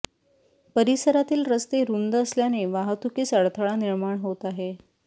परिसरातील रस्ते रुंद असल्याने वाहतुकीस अडथळा निर्माण होत आहे